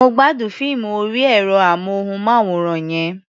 Mo gbádùn fíìmù orí ẹ̀rọ-amóhùnmáwòrán yẹn.